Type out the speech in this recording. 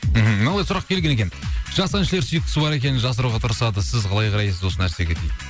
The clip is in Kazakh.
мхм новый сұрақ келген екен жас әншілер сүйіктісі бар екеніні жасыруға тырысады сіз қалай қарайсыз осы нәрсеге дейді